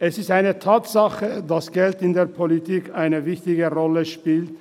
Es ist eine Tatsache, dass Geld in der Politik eine wichtige Rolle spielt.